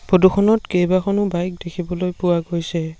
Photo খনত কেইবাখনো bike দেখিবলৈ পোৱা গৈছে।